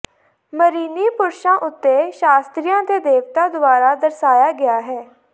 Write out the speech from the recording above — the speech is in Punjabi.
ਮਿਰੀਨੀ ਪੁਰਸ਼ਾਂ ਉੱਤੇ ਸ਼ਾਸਤਰੀਆਂ ਦੇ ਦੇਵਤਾ ਦੁਆਰਾ ਦਰਸਾਇਆ ਗਿਆ ਹੈ